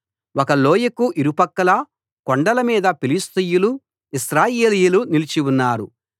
ఒక లోయకు ఇరుప్రక్కలా కొండల మీద ఫిలిష్తీయులు ఇశ్రాయేలీయులు నిలిచి ఉన్నారు